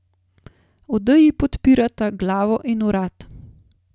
Odeji podpirata glavo in vrat.